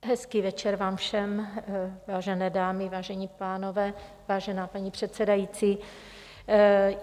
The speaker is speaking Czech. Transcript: Hezký večer vám všem, vážené dámy, vážení pánové, vážená paní předsedající.